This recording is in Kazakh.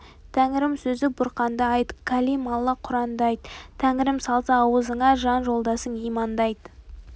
тәңірім сөзі бұрқанды айт кәлим алла құранды айт тәңірім салса аузыңа жан жолдасың иманды айт